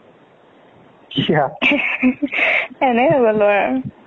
কিয়া ? এনেই নগলোঁ আৰু।